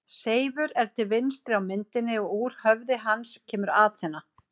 Seifur er til vinstri á myndinni og úr höfði hans kemur Aþena.